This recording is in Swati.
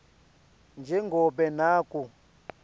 nje ngobe naku